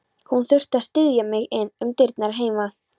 Hann þurfti að styðja mig inn um dyrnar heima.